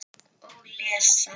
Og lesa.